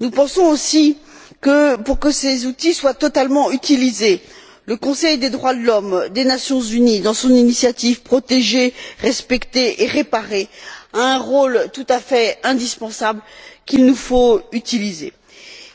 Nous pensons aussi que, pour que ces outils soient totalement utilisés, le Conseil des droits de l'homme des Nations unies, dans son initiative Protéger, respecter et réparer, a un rôle tout à fait indispensable qu'il nous faut utiliser.